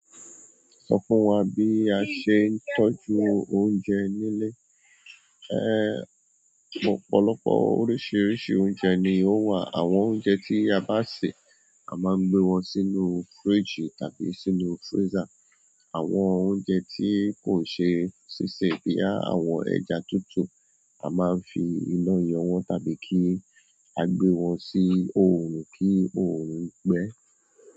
Sọ fún wa bí a ṣe ń tọ́jú oúnjẹ nílé? Ehn, ọ̀pọ̀lọpọ̀ oríṣiríṣi oúnjẹ ni ó wà. Àwọn oúnjẹ tí a bá sè, a máa ń gbé wọn sínú fíríjì tàbí sínú fírízá. Àwọn oúnjẹ tí kò ṣe sísè bí àwọn ẹja tútù, a máa ń fi iná yọ̀ wọ́n tàbí kí a gbé wọn sí oòrùn kí oòrùn gbẹ.